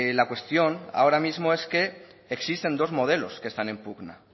la cuestión ahora mismo es que existen dos modelos que están en pugna